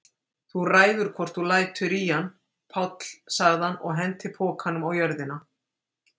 Þú ræður hvort þú lætur í hann, Páll sagði hann og henti pokanum á jörðina.